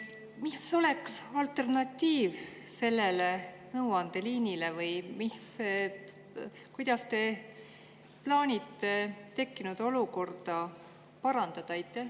Mis oleks alternatiiv sellele nõuandeliinile või kuidas te plaanite tekkinud olukorda parandada?